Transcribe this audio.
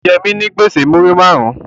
O je mi nigbese muri marun